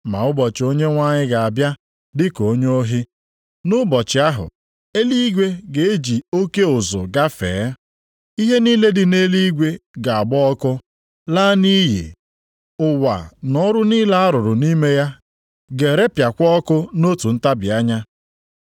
Ma ụbọchị Onyenwe anyị ga-abịa dịka onye ohi. Nʼụbọchị ahụ, eluigwe ga-eji oke ụzụ gafee. Ihe niile dị nʼeluigwe ga-agba ọkụ, laa nʼiyi. Ụwa na ọrụ niile a rụrụ nʼime ya ga-erepịakwa ọkụ nʼotu ntabi anya.